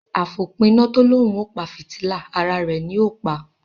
Afopina to lòún o pa fìtílà, àrà rẹ ní o pa.